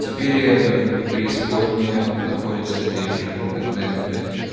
теперь и эдем и преисподняя находятся здесь же эдем блять э